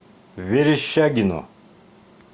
верещагино